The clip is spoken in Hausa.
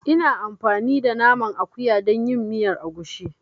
Ina amfani da Naman akuya dan yin miyar agushi.